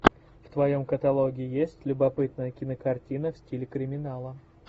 в твоем каталоге есть любопытная кинокартина в стиле криминала